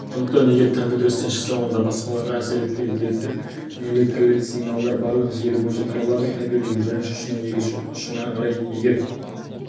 сондықтан егер компьютер істен шықса онда басқаларға әсер етпейді деректер не электрлік сигналдар барлық желі бойынша таралады кабелдің бірінші ұшынан екінші ұшына қарай егер